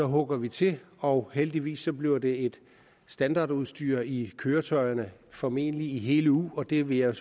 hugger vi til og heldigvis bliver det et standardudstyr i køretøjerne formentlig i hele eu og det vil jeg